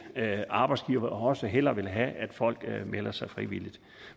arbejdsgivere også hellere vil have at folk melder sig frivilligt